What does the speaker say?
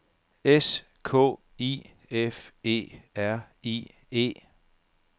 S K I F E R I E